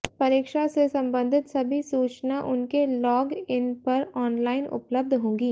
परीक्षा से संबंधित सभी सूचना उनके लॉग इन पर ऑनलाइन उपलब्ध होंगी